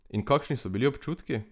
In kakšni so bili občutki?